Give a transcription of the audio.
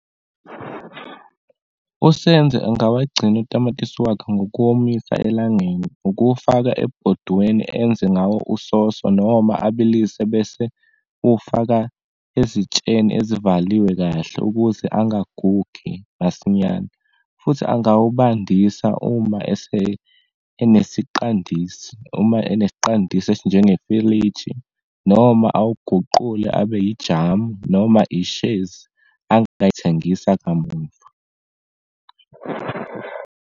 USenzo angawagcina utamatisi wakhe ngokuwomisa elangeni. Ukuwufaka ebhodweni enze ngawo usoso, noma abalise bese uwufaka ezitsheni ezivaliwe kahle ukuze angagugi masinyane, futhi angawubandisa uma ese enesiqandisi, uma enesiqandisini esinjengefiliji, noma awuguqule abe yijamu noma ishezi angayithengisa kamumva.